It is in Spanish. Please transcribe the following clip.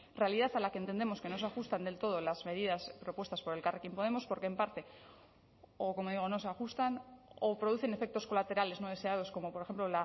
realidad a la que entendemos que no se ajustan del todo las medidas propuestas por elkarrekin podemos porque en parte o como digo no se ajustan o producen efectos colaterales no deseados como por ejemplo